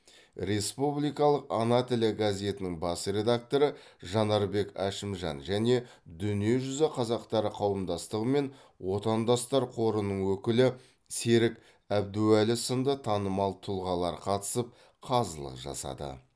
республикалық ана тілі газетінің бас редакторы жанарбек әшімжан және дүниежүзі қазақтары қауымдастығы мен отандастар қорының өкілі серік әбдуәлі сынды танымал тұлғалар қатысып қазылық жасады